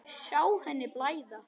Sjá henni blæða.